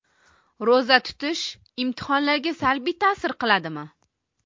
Ro‘za tutish imtihonlarga salbiy ta’sir qiladimi?.